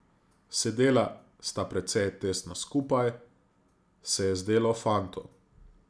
Sedela sta precej tesno skupaj, se je zdelo fantu.